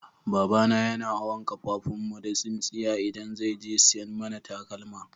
Baba na yana awon kafafun mu da tsinsiya idan zai je siyan mana takalma.